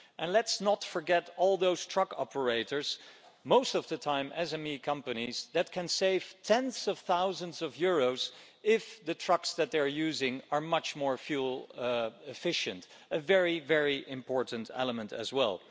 Let's not forget all those truck operators, which most of the time are SME companies, that can save tens of thousands of euros if the trucks that they're using are much more fuel efficient a very important element as well.